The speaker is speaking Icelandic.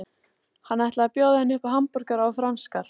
Hann ætlaði að bjóða henni upp á hamborgara og franskar.